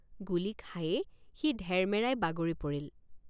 গুলী খায়েই সি ধেৰমেৰাই বাগৰি পৰিল।